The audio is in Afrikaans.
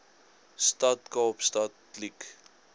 stad kaapstad kliek